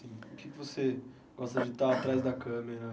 Assim o que que você gosta de estar atrás da câmera?